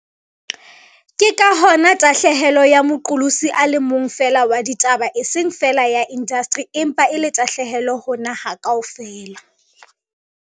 Ke ka hona tahlehelo ya moqolosi a le mong feela wa ditaba eseng feela ya indasteri empa e le tahlehelo ho naha kaofela.